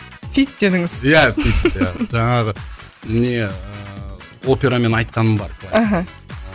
фит дедіңіз иә фит жаңағы жаңағы не ыыы операмен айтқаным бар мхм